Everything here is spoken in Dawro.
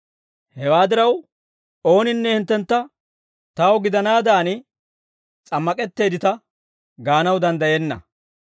Hewaa diraw, ooninne hinttentta taw gidanaadan s'ammak'etteeddita gaanaw danddayenna.